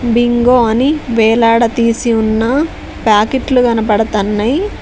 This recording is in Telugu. బింగో అని వేలాడదీసి ఉన్న ప్యాకెట్లు కనపడతన్నాయ్.